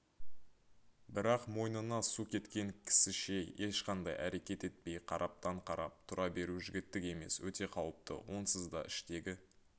бірақ мойнына су кеткен кісіше ешқандай әрекет етпей қараптан-қарап тұра беру жігіттік емес өте қауіпті онсыз да іштегі